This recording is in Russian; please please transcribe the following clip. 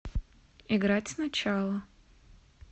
играть сначала